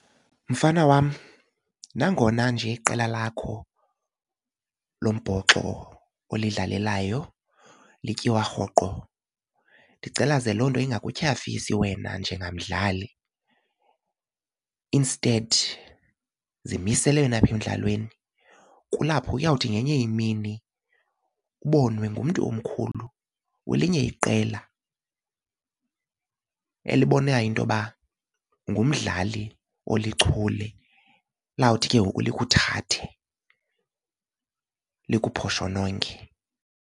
Mfana wam, nangona nje iqela lakho lombhoxo olidlalelayo lityiwa rhoqo ndicela ze loo nto ingakutyhafisi wena njengamdlali. Instead zimisele wena apha emdlalweni. Kulapho uyawuthi ngenye imini ubonwe ngumntu omkhulu welinye iqela elibonayo into yoba ngumdlali olichule. Liyawuthi ke ngoku likuthathe likuphoshononge.